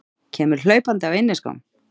Kemur hlaupandi á inniskóm.